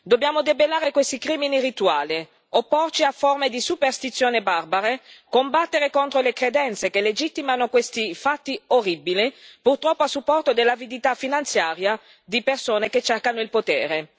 Dobbiamo debellare questi crimini rituali, opporci a forme di superstizione barbare, combattere contro le credenze che legittimano questi fatti orribili, purtroppo a supporto dell'avidità finanziaria di persone che cercano il potere.